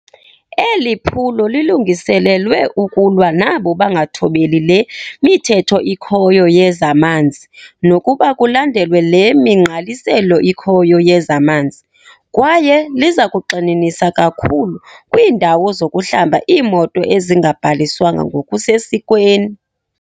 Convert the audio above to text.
Eli phulo lilungiselelwe ukulwa nabo bangathobeli le mithetho ikhoyo yezamanzi nokuba kulandelwe le migqaliselo ikhoyo yezamanzi, kwaye liza kugxininisa kakhulu kwiindawo zokuhlamba iimoto ezingabhaliswanga ngokusesikweni.